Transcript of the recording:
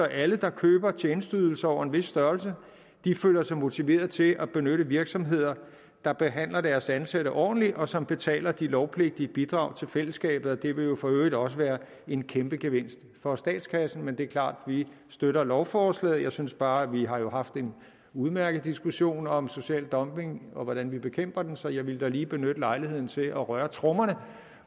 alle der køber tjenesteydelser over en vis størrelse føler sig motiveret til at benytte virksomheder der behandler deres ansatte ordentligt og som betaler de lovpligtige bidrag til fællesskabet og det vil jo for øvrigt også være en kæmpegevinst for statskassen det er klart at vi støtter lovforslaget jeg synes bare at vi jo har haft en udmærket diskussion om social dumping og hvordan vi bekæmper den så jeg ville da lige benytte lejligheden til at røre trommerne